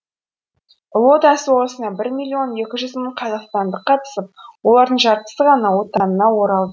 ұлы отан соғысына бір миллион екі жүз мың қазақстандық қатысып олардың жартысы ғана отанына оралды